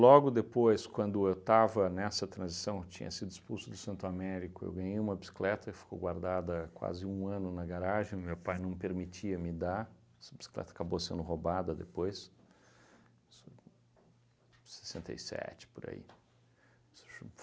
Logo depois, quando eu estava nessa transição, eu tinha sido expulso do Santo Américo, eu ganhei uma bicicleta e ficou guardada quase um ano na garagem, meu pai não permitia me dar, essa bicicleta acabou sendo roubada depois, isso em sessenta e sete, por aí.